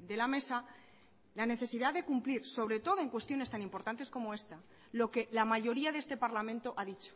de la mesa la necesidad de cumplir sobre todo en cuestiones tan importantes como esta lo que la mayoría de este parlamento ha dicho